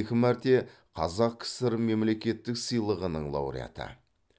екі мәрте қазақ кср мемлекеттік сыйлығының лауреаты